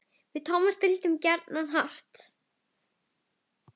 Við Tómas deildum gjarnan hart.